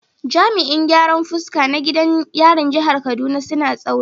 Jami’an gyaran fuska a gidan yarin jihar Kaduna suna da tsauri